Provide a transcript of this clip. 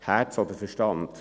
Herz oder Verstand?